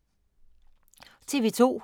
TV 2